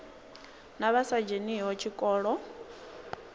na vha sa dzheniho tshikolo